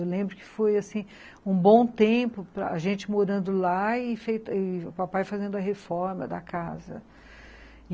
Eu lembro que foi, assim, um bom tempo para gente morando lá e o papai fazendo a reforma da casa.